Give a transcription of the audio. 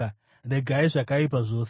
Regai zvakaipa zvose.